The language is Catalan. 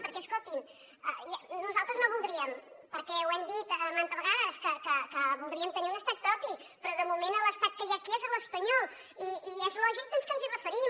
perquè escoltin nosaltres no voldríem perquè ho hem dit manta vegades que voldríem tenir un estat propi però de moment l’estat que hi ha aquí és l’espanyol i és lògic doncs que ens hi referim